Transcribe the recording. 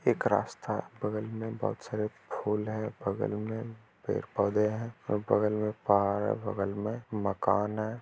एक रास्ता बगल में बहोत सारे फूल है बगल में पेड़-पौधे है और बगल में पहाड़ है बगल में मकान है।